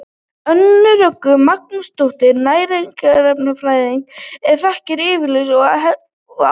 Önnu Rögnu Magnúsardóttur næringarfræðingi er þakkaður yfirlestur og ábendingar.